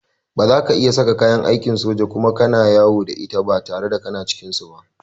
Ba za ka iya saka kayan aikin soja Kuma kana yawo da ita in ba ka cikin su.